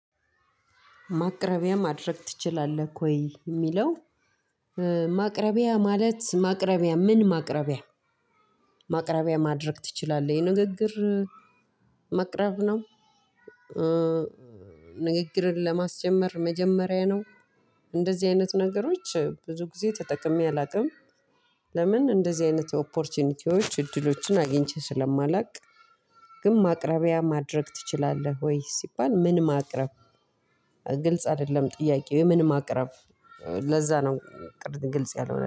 ማቅረቢያ ማድረግ ትችላለህ ወ? ይ የሚለው ማቅረቢያ ማለት ማቅረቢያ ምን ማቅረቢያ? ማቅረቢያ ማድረግ ትችላለህ የንግግር ማቅረብ ነው? ንግግርን ለማስጀመር መጀመሪያ ነው? እንደዚህ አይነት ነገሮች ብዙ ጊዜ ተጠቅሜ አላውቅም። ለምን እንደዚህ አይነት ኦፖርቹኒቲዎች እድሎችን አግኝቼ ስለማላውቅ ግን ማቅረቢያ ማድረግ ትችላለህ ወይ ሲባል ምን ማቅረብ? ግልጽ አይደለም ጥያቄው ምን ማቅረብ? ለዛ ነው ቅድም ግልጽ ያልሆነልኝ።